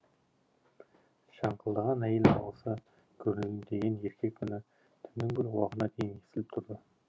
шаңқылдаған әйел дауысы гүрілдеген еркек үні түннің бір уағына дейін естіліп тұрды